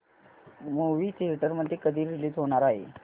movie theatre मध्ये कधी release होणार आहे